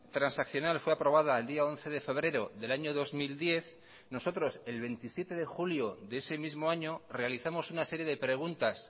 transaccional fue aprobada el día once de febrero del año dos mil diez nosotros el veintisiete de julio de ese mismo año realizamos una serie de preguntas